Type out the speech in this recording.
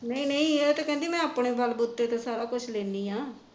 ਨਹੀ ਨਹੀ ਇਹ ਤਾਂ ਕਹਿੰਦੀ ਮੈ ਆਪਣੇ ਬੱਲ ਬਹੂਤੇ ਤੇ ਸਾਰਾ ਕੁੱਝ ਲੈਂਦੀ ਹਾਂ